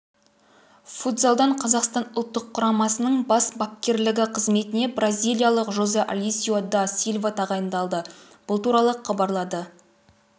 футзалдан қазақстан ұлттық құрамасының бас бапкерлігі қызметіне бразилиялық жозе алесио да силва тағайындалды бұл туралы хабарлады